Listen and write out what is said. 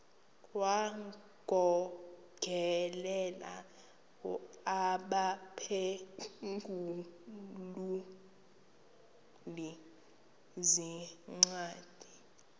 wagokelela abaphengululi zincwadi